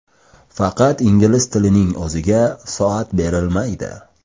Faqat ingliz tilining o‘ziga soat berilmaydi.